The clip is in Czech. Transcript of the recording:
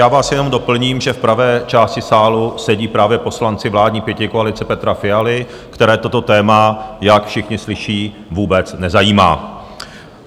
Já vás jenom doplním, že v pravé části sálu sedí právě poslanci vládní pětikoalice Petra Fialy, které toto téma, jak všichni slyší, vůbec nezajímá.